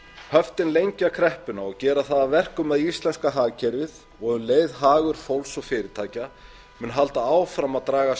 höftin lengja kreppuna og gera það að verkum að íslenska hagkerfið og um leið hagur fólks og fyrirtækja munu halda áfram að dragast